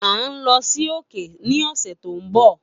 A nlo si òkè ni ọsẹ to nbọ.